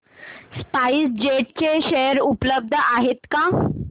spice jet चे share उपलब्ध आहेत का